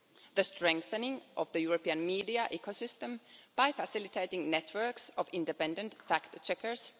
the strengthening of the European media ecosystem by facilitating networks of independent fact checkers